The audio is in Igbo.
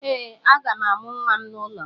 Ee, aga m amụ nwa m n’ụlọ m.